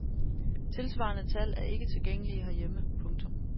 Tilsvarende tal er ikke tilgængelige herhjemme. punktum